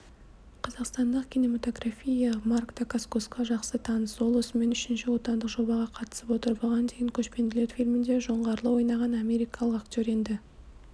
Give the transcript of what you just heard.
қазақстандық кинематография марк дакаскосқа жақсы таныс ол осымен үшінші отандық жобаға қатысып отыр бұған дейін көшпенділер фильмінде жоңғарды ойнаған америкалық актер енді